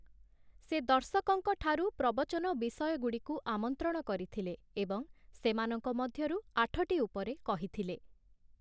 ସେ ଦର୍ଶକଙ୍କ ଠାରୁ ପ୍ରବଚନ ବିଷୟଗୁଡ଼ିକୁ ଆମନ୍ତ୍ରଣ କରିଥିଲେ ଏବଂ ସେମାନଙ୍କ ମଧ୍ୟରୁ ଆଠଟି ଉପରେ କହିଥିଲେ ।